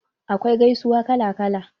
Akwai gaisuwa kala kala.